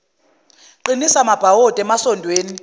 qinisa amabhawodi emasondweni